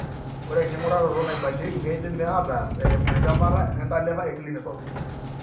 Ore enking'uraroto naibalieki keidimi aataas eimu entemata entalipa eclinical.